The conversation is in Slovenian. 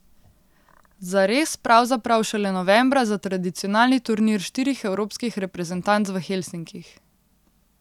Zares pravzaprav šele novembra za tradicionalni turnir štirih evropskih reprezentanc v Helsinkih.